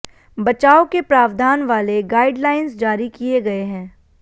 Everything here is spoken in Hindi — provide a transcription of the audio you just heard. बचाव के प्रावधान वाले गाइडलाइंस जारी किए गए हैं